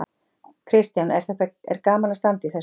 Kristján: Er þetta gaman að standa í þessu?